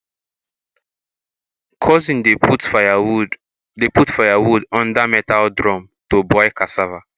cousin dey put firewood dey put firewood under metal drum to boil cassava